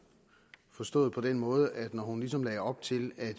forstået på den måde at når hun ligesom lagde op til at